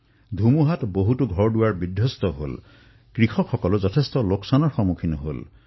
ঘূৰ্ণী বতাহত বহু লোকৰ ঘৰদুৱাৰ উৰি গল কৃষকসকলৰো অধিক লোকচান হল